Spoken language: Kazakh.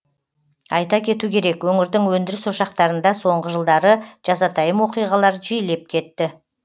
айта кету керек өңірдің өндіріс ошақтарында соңғы жылдары жазатайым оқиғалар жиілеп кетті